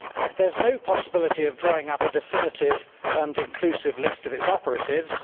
There is no possibility of drawing up a definitive and inclusive list of its operatives.